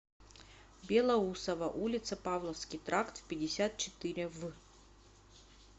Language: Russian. белоусово улица павловский тракт пятьдесят четыре в